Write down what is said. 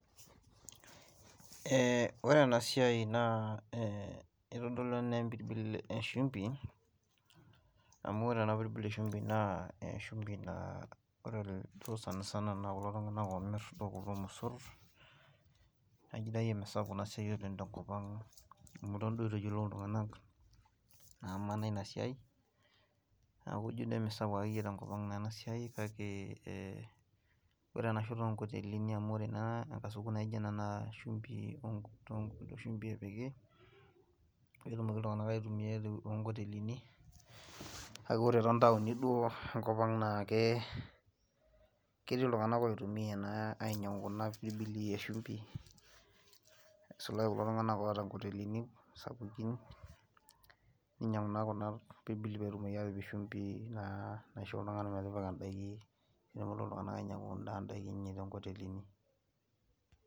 ee ore ena siai na etodolu ena empirbil eshumpi, amu ore ena pirbil eshumpi naa eshumoi naa ore duo sanisana naa kulo tunganak oomir kulo mosor, naa ijo duo misapuk ena siai oleng tenkop ang, amu eton duo eitu eyiolou iltunganak ina siai, neeku ijo emisapuk ake te nkop ang'naa ena siai kake ee ore ena shoto oo kotelini amu ore naa, sukuul naijo ena naa shumpi, pee etumoki iltungank aitumia too nkotelini, kake ore too ntaoni duo enkop ang naa ketii iltunganak oitumia ena, ainyiang'u kuna pirbili eshumpi, isulaki kulo tunganak oota nkotelini, sapukin ninyiang'u naa kuna, pirbili pee etumoki aatipik shumpi, naisho iltungank metipika daiki, nepuonu iltungank ainyiang'u idaiki enye too nkotelini.